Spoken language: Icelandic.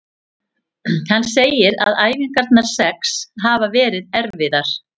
Hann segir að æfingarnar sex hafi verið erfiðar.